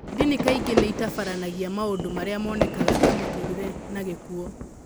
Ndini kaingĩ nĩ ĩtabaranagia maũndũ marĩa monekaga ta mũtũrĩre na gĩkuũ.